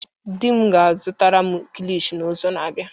Dim ga-azutara m kilishi n'izu na-abịa.